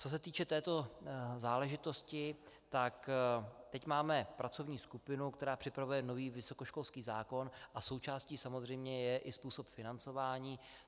Co se týče této záležitosti, tak teď máme pracovní skupinu, která připravuje nový vysokoškolský zákon, a součástí samozřejmě je i způsob financování.